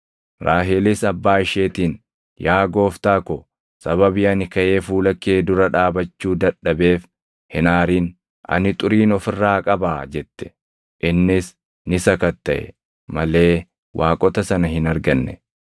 Raahelis abbaa isheetiin, “Yaa gooftaa ko, sababii ani kaʼee fuula kee dura dhaabachuu dadhabeef hin aarin; ani xuriin of irraa qabaa” jette. Innis ni sakattaʼe malee waaqota sana hin arganne.